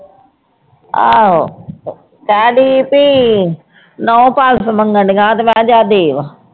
ਆਹੋ ਕਹਿੰਦੀ ਵੀ ਨਹੁੰ ਪਾਲਸ ਮੰਗਣਡੀਆਂ ਤੇ ਮੈਂ ਜਾ ਦੇ ਆ।